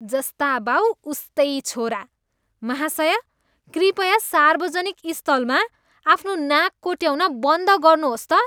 जस्ता बाऊ, उस्तै छोरा। महाशय, कृपया सार्वजनिक स्थलमा आफ्नो नाक कोट्याउन बन्द गर्नुहोस् त।